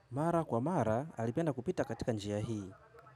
Mara kwa mara, alipenda kupita katika njia hii.